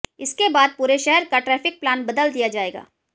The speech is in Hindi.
इसके बाद पूरे शहर का ट्रैफिक प्लान बदल दिया जाएगा